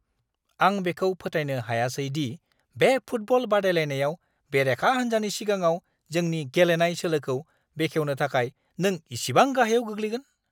आं बेखौ फोथायनो हायासै दि बे फुटबल बादायलायनायाव बेरेखा हान्जानि सिगाङाव जोंनि गेलेनाय सोलोखौ बेखेवनो थाखाय नों इसेबां गाहायाव गोग्लैगोन!